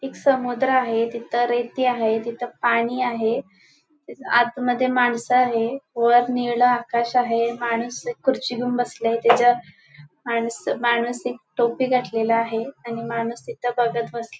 एक समुद्र आहे तिथ रेती आहे तिथ पाणी आहे आत मध्ये माणस आहेत वर निळ आकाश आहे माणुस खुर्ची घेऊन बसले आहे त्याच्या माणुस माणुस एक टोपी घातलेला आहे आणि माणुस तिथ बघत बसले --